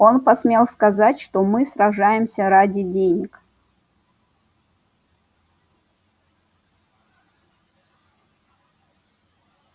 он посмел сказать что мы сражаемся ради денег